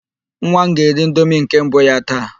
Nwa m ga-eri indomi nke mbụ ya taa.